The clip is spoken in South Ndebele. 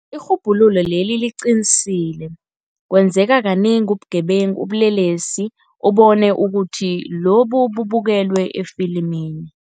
Irhubhululo leli liqinisile, kwenzeka kanengi ubugebengu ubulelesi ubone ukuthi lobu bubukelwe efilimini.